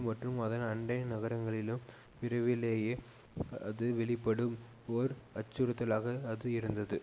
மற்றும் அதன் அண்டை நகரங்களிலும் விரைவிலேயே அது வெளிப்படும் ஓர் அச்சுறுத்தலாக அது இருந்தது